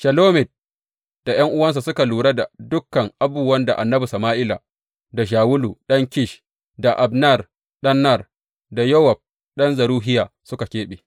Shelomit da ’yan’uwansa suka lura da dukan abubuwan da annabi Sama’ila da Shawulu ɗan Kish, da Abner ɗan Ner, da Yowab ɗan Zeruhiya suka keɓe.